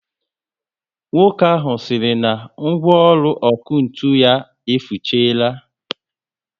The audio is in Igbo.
Nwoke ahụ siri na ngwaọrụ ọkụ ntụ ya efusichaala